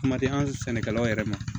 Kuma tɛ an sɛnɛkɛlaw yɛrɛ ma